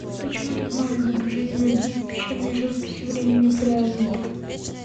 почему так мало изображений людей в пещерной живописи времени палеолита